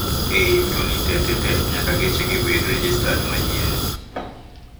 Ei yuto ni tetete nyaka geche gi bed rejestad manyien